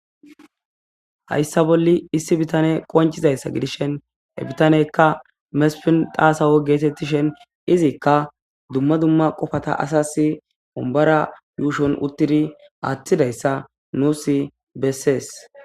hayssa bolli issi bitane qoncizayssa gidishen he bitaneykka mespin xaasawo geetettishen izikka dumma dumma qofata asas wombara yuushon uttidi aatthidayssa nuusi bessees.